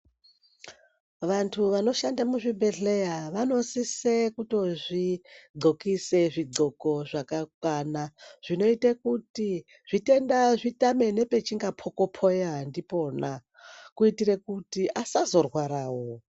Vanthu vanoshanda kuzvibhedhlera vanosise kutozvo xokise zvi xoko zvakakwana zvinoite kuti zvitenda zvitame pazvino pokopeya ndipona kuitere kuti vasazorwara wo.